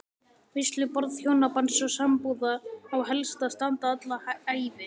Veisluborð hjónabands og sambúðar á helst að standa alla ævi.